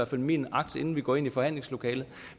fald min agt inden vi går ind i forhandlingslokalet